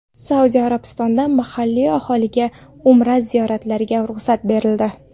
Saudiya Arabistonida mahalliy aholiga Umra ziyoratiga ruxsat berildi.